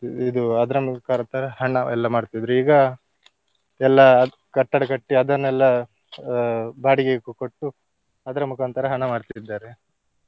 ಇದು ಅದರ ಮುಖಾಂತರ ಹಣವೆಲ್ಲ ಮಾಡ್ತಿದ್ರು ಈಗ ಎಲ್ಲಾ ಕಟ್ಟಡ ಕಟ್ಟಿ ಅದನ್ನೆಲ್ಲ ಆ ಬಾಡಿಗೆಗೆ ಕೊಟ್ಟು ಅದರ ಮುಖಾಂತರ ಹಣ ಮಾಡ್ತಿದ್ದಾರೆ.